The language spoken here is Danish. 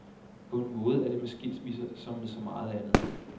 På en måde er det med skilsmisser, som med så meget andet.